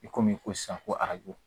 I komi ko sisan ko arajo